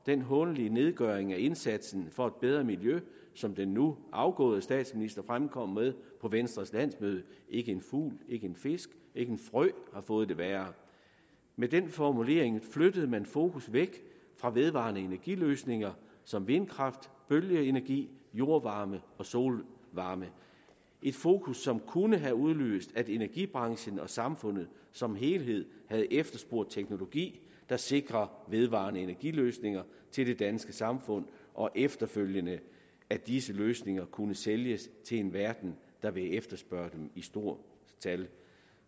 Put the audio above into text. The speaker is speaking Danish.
den hånlige nedgøring af indsatsen for et bedre miljø som den nu afgåede statsminister fremkom med på venstres landsmøde ikke en fugl ikke en fisk ikke en frø har fået det værre med den formulering flyttede man fokus væk fra vedvarende energi løsninger som vindkraft bølgeenergi jordvarme og solvarme et fokus som kunne have udløst at energibranchen og samfundet som helhed havde efterspurgt teknologi der sikrede vedvarende energi løsninger til det danske samfund og efterfølgende at disse løsninger kunne sælges til en verden der ville efterspørge dem i stort tal